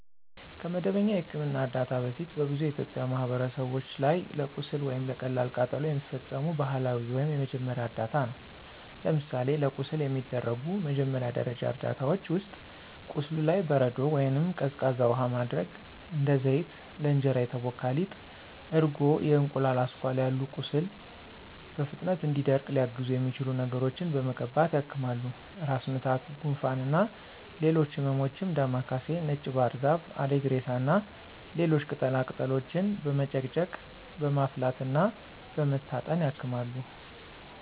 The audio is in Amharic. ከመደበኛ የሕክምና እርዳታ በፊት በብዙ የኢትዮጵያ ማህበረሰቦች ላይ ለቁስል ወይም ለቀላል ቃጠሎ የሚፈጸሙ ባህላዊ ወይም የመጀመሪያ እርዳታ ነው። ለምሳሌ ለቁስል የሚደረጉ መጀመሪያ ደረጃ እርዳታዎች ውስጥ፦ ቁስሉ ላይ በረዶ ወይንም ቀዝቃዛ ውሃ ማድረግ፣ እንደ ዘይት፣ ለእንጀራ የተቦካ ሊጥ፣ እርጎ፣ የእንቁላል አስኳል ያሉ ቁስሉ በፍጥነት እንዲደርቅ ሊያግዙት የሚችሉ ነገሮችን በመቀባት ያክማሉ። ራስ ምታት፣ ጉንፋን እና ሌሎች ህመሞችም ዳማ ካሴ፣ ነጭ ባህርዛፍ፣ አሪግሬሳ እና ሌሎች ቅጠላ ቅጠሎችን በመጨቅጨቅ፣ በማፍላት እና በመታጠን ያክማሉ።